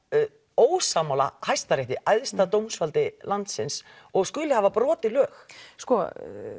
ósammála hæsta rétti æðsta dómsvaldi landsins og skuli hafa brotið lög sko